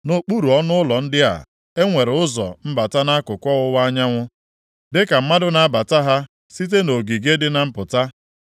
Nʼokpuru ọnụụlọ ndị a, e nwere ụzọ mbata nʼakụkụ ọwụwa anyanwụ, dịka mmadụ na-abata ha site nʼogige dị na mpụta.